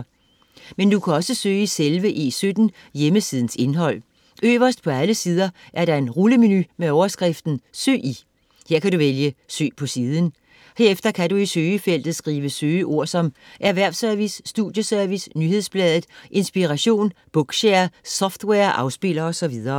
Men du kan også søge i selve E17 hjemmesidens indhold. Øverst på alle sider er der en rullemenu med overskriften ”søg i”. Her skal du vælge ”søg på siden”. Herefter kan du i søgefeltet skrive søgeord som Erhvervsservice, Studieservice, Nyhedsbladet Inspiration, Bookshare, software-afspiller osv.